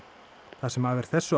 það sem af er þessu